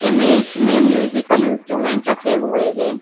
Image में musical instrument रखे हुए हें।